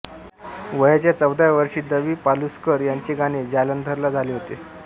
वयाच्या चौदाव्या वर्षी दवि पलुस्कर यांचे गाणे जालंधरला झाले होते